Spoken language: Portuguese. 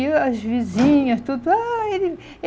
E o as vizinhas, tudo. Ai